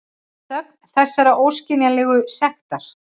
Þögn þessarar óskiljanlegu sektar.